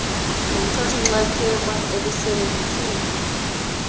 lomthathi nxxaxheba elisebenziseka